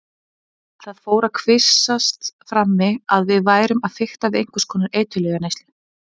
Það fór að kvisast frammi að við værum að fikta við einhvers konar eiturlyfjaneyslu.